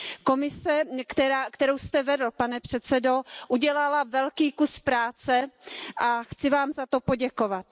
Komise, kterou jste vedl, pane předsedo, udělala velký kus práce a chci Vám za to poděkovat.